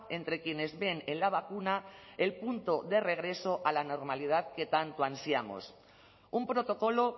entre quienes ven en la vacuna el punto de regreso a la normalidad que tanto ansiamos un protocolo